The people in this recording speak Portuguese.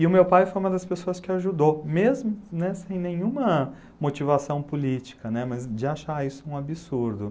E o meu pai foi uma das pessoas que ajudou, mesmo né, sem nenhuma motivação política né, mas de achar isso um absurdo.